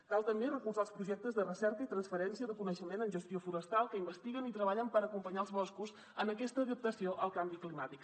cal també recolzar els projectes de recerca i transferència de coneixement en gestió forestal que investiguen i treballen per acompanyar els boscos en aquesta adaptació al canvi climàtic